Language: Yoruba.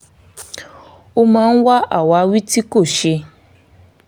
ó máa ń wá àwáwí tí kò ṣe